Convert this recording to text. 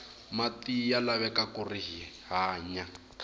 mati ya laveka kuri hi hanya